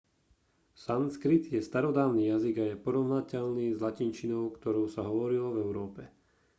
sanskrit je starodávny jazyk a je porovnateľný s latinčinou ktorou sa hovorilo v európe